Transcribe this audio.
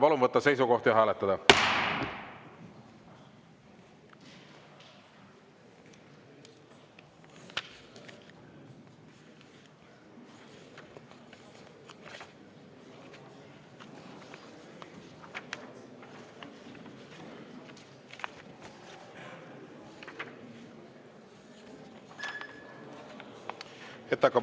Palun võtta seisukoht ja hääletada!